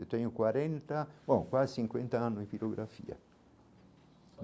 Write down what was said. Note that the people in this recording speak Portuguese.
Eu tenho quarenta bom quase cinquenta anos de pirografia.